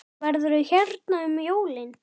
Verður þú hérna um jólin?